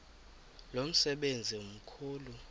lo msebenzi mkhulu